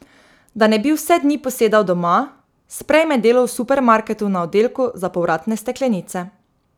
Da ne bi vse dni posedal doma, sprejme delo v supermarketu na oddelku za povratne steklenice.